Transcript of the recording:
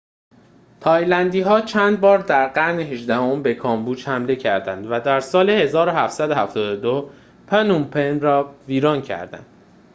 تایلندی‌ها چندبار در قرن هجدهم به کامبوج حمله کردند و در سال ۱۷۷۲ پنوم‌پن را ویران کردند